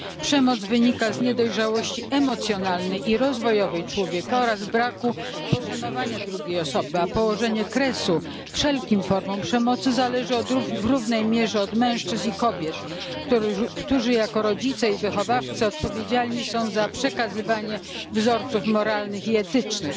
Przemoc wynika z niedojrzałości emocjonalnej i rozwojowej człowieka oraz braku poszanowania drugiej osoby, a położenie kresu wszelkim formom przemocy zależy w równej mierze od mężczyzn i kobiet, którzy jako rodzice i wychowawcy odpowiedzialni są za przekazywanie wzorców moralnych i etycznych.